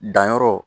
Danyɔrɔ